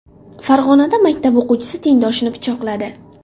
Farg‘onada maktab o‘quvchisi tengdoshini pichoqladi.